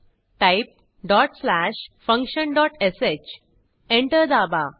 type dot slash function dot sh enter दाबा